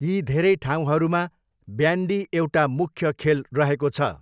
यी धेरै ठाउँहरूमा ब्यान्डी एउटा मुख्य खेल रहेको छ।